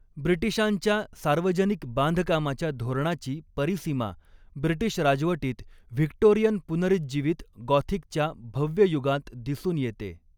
ब्रिटिशांच्या सार्वजनिक बांधकामाच्या धोरणाची परिसीमा ब्रिटिश राजवटीत व्हिक्टोरिअन पुनरुज्जीवित गॉथिकच्या भव्य युगांत दिसून येते.